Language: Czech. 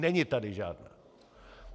Není tady žádná!